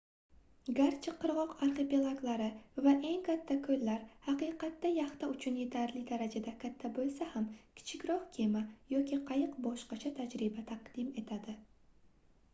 garchi qirgʻoq arxipelaglari va eng katta koʻllar haqiqatda yaxta uchun yetarli darajada katta boʻlsa ham kichikroq kema yoki qayiq boshqacha tajriba taqdim etadi